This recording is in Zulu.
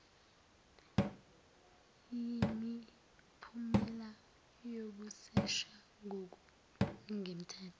yimiphumela yokusesha ngokungemthetho